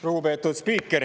Lugupeetud spiiker!